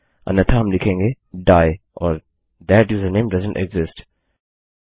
अन्यथा हम लिखेंगे डाइ और थाट यूजरनेम डोएसेंट एक्सिस्ट